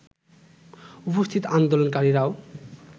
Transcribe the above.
উপস্থিত আন্দোলনকারীরাও